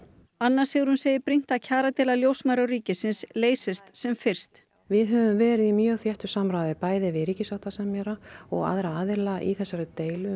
anna Sigrún segir brýnt að kjaradeila ljósmæðra og ríkisins leysist sem fyrst við höfum verið í mjög þéttu samráði bæði við ríkissáttasemjara og aðra aðila í þessari deilu